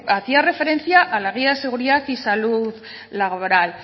hacía referencia a la guía de seguridad y salud laboral